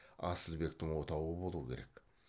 асылбектің отауы болу керек